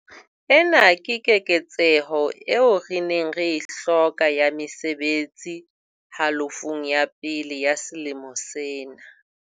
Ena ke keketseho eo re neng re e hloka ya mesebetsi halofong ya pele ya selemo sena.